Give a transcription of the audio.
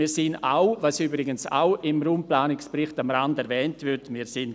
Wir finden eigentlich auch, dass das hier nicht der richtige Ort ist.